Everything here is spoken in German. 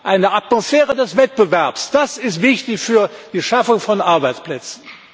Eine Atmosphäre des Wettbewerbs das ist wichtig für die Schaffung von Arbeitsplätzen!